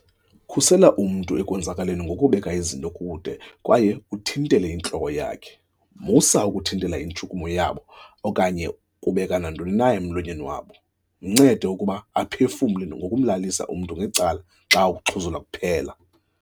"Khusela umntu ekwenzakaleni ngokubeka izinto kude kwaye uthintele intloko yakhe. Musa uku thintela intshukumo yabo okanye ukubeka nantoni na emlonyeni wabo. Mncede ukuba aphefumle ngokumlalisa umntu ngecala xa ukuxhuzula kuphela."